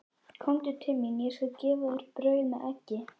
Komdu til mín, ég skal gefa þér brauð með eggi.